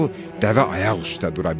Dəvə ayaq üstə dura bilmədi.